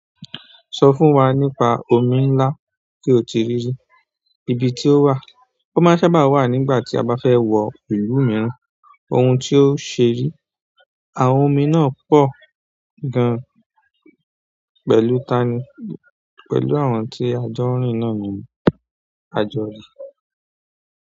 Sọ fún wa nípa omi ńlá tí o ti rí i, ibi tí ó wà, ó máa ń sábà wà nígbà tí a bá fẹ́ wọ ìlú mìíràn, ohun tí ó ṣe rí. Àwọn omi náà pọ̀ gan pẹ̀lú tani, pẹ̀lú àwọn tí ajọ́ ńrìn náà ni a jọ rí.